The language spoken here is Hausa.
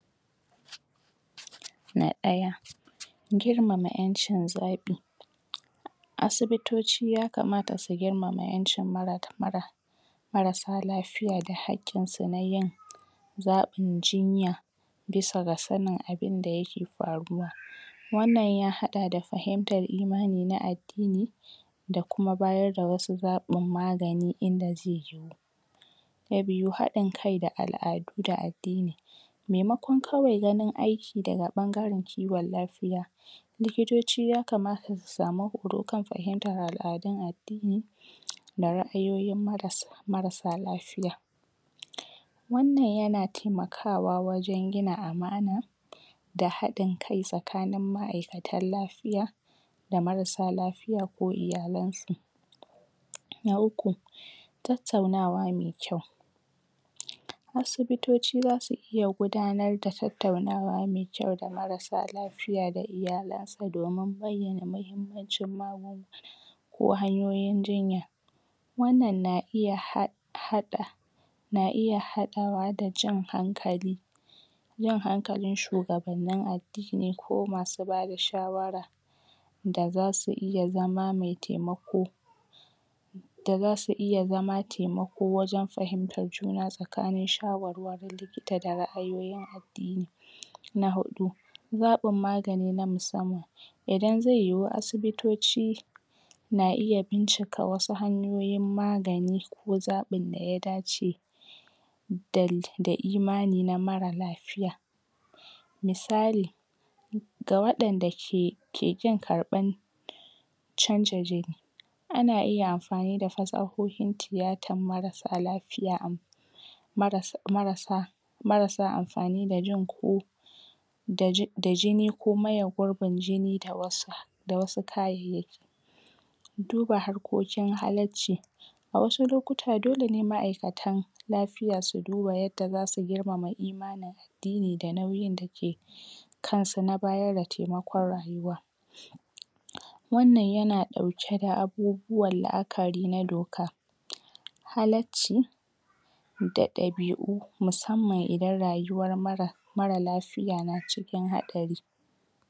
Na ɗaya girmama ƴancin zaɓi asibitoci yakamata su girmama ƴancin mara marasa lafiya da haƙƙin su na yin zaɓin jinya bisa ga sanin abinda yake faruwa wannan ya haɗa da fahimtan imani na addini da kuma bayar da wasu zaɓin magani inda zai yiwu na biyu, haɗin kai da al'adu da addini maimakon kawai ganin aiki daga ɓangaren kiwon lafiya likitoci yakamata su samu horo kan fahimtar al'adun addini da ra'ayoyin marasa lafiya wannan yana taimakawa wajen gina amana da haɗin kai tsakanin ma'aikatan lafiya da marasa lafiya ko iyalan su na uku tattaunawa me kyau asibitoci zasu iya gudanar da tattaunawa me kyau da marasa lafiya da iyalan sa domin yana da mahimmacin magunguna ko hanyoyin jinya wannan na iya haɗa na iya haɗawa da jan hankali yau hankalin shugabanni addini ko basu bada shawara da zasu iya zama taimako wajen fahimtar juna tsakanin shawarwarin likita da ra'ayyin addini na huɗu zaɓin magani na musamman idan zai yiwu asibitoci na iya bincika wasu hanyoyin maganii ko zaɓin da ya dace da imani na mara lafiya misali ga waɗanda ke ƙin karɓan canza gani ana iya amfani da fasahohin tiyatan marasa lafiya maras, marasa marasa amfani da jin ku da jini ko maye gurbin jini da da wasu kayayyaki duba harkokin halacci a wasu lokuta dole ne ma'aikatan lafiya su daba yadda zasu girmama imanin addini da nauyin take kan su na bayan da taimakaon rayuwa wannan yana ɗauke da abubuwan la'akari na dok halacci da ɗabiu musamman idan rayuwa mara mara lafiya na cikin haɗari.